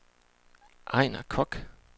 Ejnar Koch